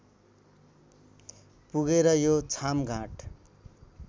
पुगेर यो छामघाट